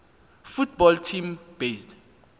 football team based